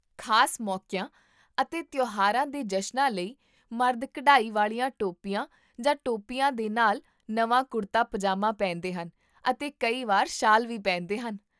ਖ਼ਾਸ ਮੌਕੀਆਂ ਅਤੇ ਤਿਉਹਾਰਾਂ ਦੇ ਜਸ਼ਨਾਂ ਲਈ ਮਰਦ ਕਢਾਈ ਵਾਲੀਆਂ ਟੋਪੀਆਂ ਜਾਂ ਟੋਪੀਆਂ ਦੇ ਨਾਲ ਨਵਾਂ ਕੁੜਤਾ ਪਜਾਮਾ ਪਹਿਨਦੇ ਹਨ, ਅਤੇ ਕਈ ਵਾਰ ਸ਼ਾਲ ਵੀ ਪਹਿਨਦੇ ਹਨ